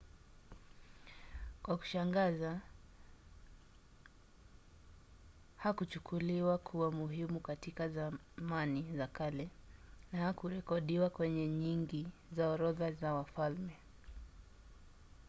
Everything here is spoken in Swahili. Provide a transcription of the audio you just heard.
kwa kushangaza hakuchukuliwa kuwa muhimu katika zamani za kale na hakurekodiwa kwenye nyingi za orodha za wafalme